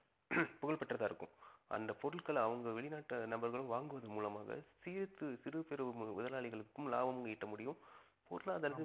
புகழ்பெற்றதா இருக்கும் அந்த பொருட்கள்ல அவங்க வெளிநாட்டு நபர்கள் வாங்குவது மூலமாக சேர்த்து சிறு பெரு முதலாளிகளுக்கும் லாபமும் ஈட்ட முடியும் பொருளாதாரத்தில